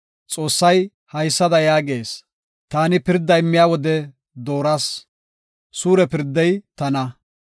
Xoossay haysada yaagees; “Taani pirda immiya wode dooras; suure pirdey tana.